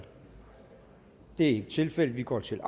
det er ikke tilfældet vi går til